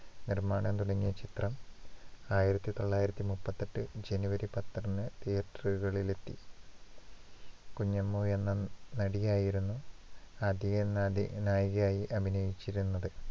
നിര്‍മ്മാണം തുടങ്ങിയ ചിത്രം ആയിരത്തി തൊള്ളായിരത്തി മുപ്പത്തിയെട്ട് january പത്തിന് theater ഉകളിലെത്തി. കുഞ്ഞമ്മു എന്ന നടിയായിരുന്നു ആദ്യനദി നായികയായി അഭിനയിച്ചിരുന്നത്.